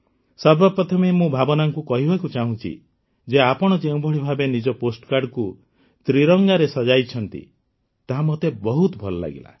ସର୍ବପ୍ରଥମେ ମୁଁ ଭାବନାଙ୍କୁ କହିବାକୁ ଚାହୁଁଛି ଯେ ଆପଣ ଯେଉଁଭଳି ଭାବେ ନିଜ ପୋଷ୍ଟକାର୍ଡ଼କୁ ତ୍ରିରଙ୍ଗାରେ ସଜେଇଛନ୍ତି ତାହା ମୋତେ ବହୁତ ଭଲ ଲାଗିଲା